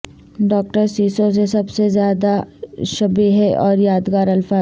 doctor Seuss سے سب سے زیادہ شبیہیں اور یادگار الفاظ